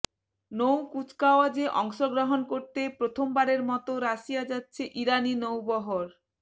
নৌ কুচকাওয়াজে অংশগ্রহণ করতে প্রথমবারের মতো রাশিয়া যাচ্ছে ইরানি নৌবহর